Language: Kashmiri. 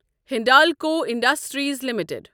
Hindalco industries limited